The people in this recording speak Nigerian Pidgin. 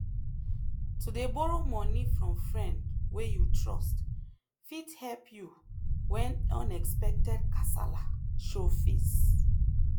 to dey borrow money from friend wey you trust fit help you when unexpected kasala show face.